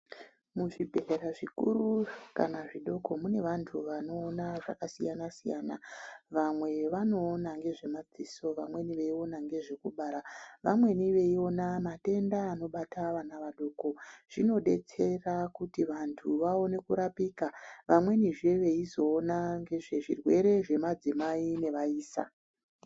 Muzvibhedhlera zvikuru kana zvidoko ,mune vantu vanoona zvakasiyana-siyana .Vamwe vanoona ngezvemadziso, vamweni veiona ngezvekubara. Vamweni veiona matenda anobata vana vadoko. Zvinodetsera kuti vantu vaone kurapika. Vamwenizve veizoona ngezvezvirwere zvemadzimai nevaisa.